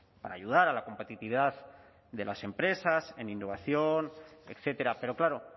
para ayudar a la competitividad de las empresas en innovación etcétera pero claro